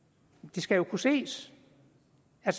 det skal jo kunne ses